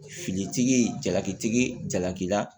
Fili tigi jalaki tigi jalaki la